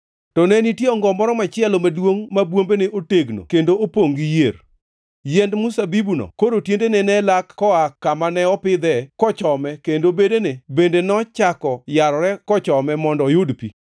“ ‘To ne nitie ongo moro machielo maduongʼ ma bwombene otegno kendo opongʼ gi yier. Yiend mzabibuno koro tiendene ne lak koa kamane opidhe kochome kendo bedene bende nochako yarore kochome mondo oyud pi.